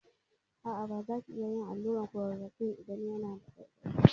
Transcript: A'a, baza ki iya yin allurar klorokwin ba idan yana saki ƙaiƙaiyi.